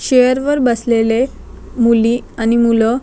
chair वर बसलेले मूली आणि मुलं--